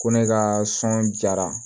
Ko ne ka sɔn jara